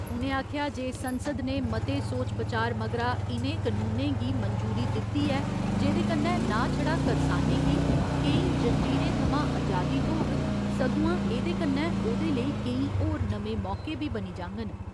उ'नें आखेआ जे संसद ने मते सोच बचार मगरा इनें कनूनें गी मंजूरी दिती ऐ जेह्दे कन्नै नां छड़ा करसानें गी केईं जंजीरें थमां अजादी थ्होग सगुआं एह्‌दे कन्नै ओह्‌दे लेई केईं होर नमें मौके बी बनी जांगन।